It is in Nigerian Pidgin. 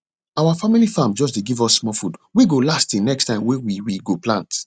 our family farm dey just give us small food wey go last till next time wey we we go plant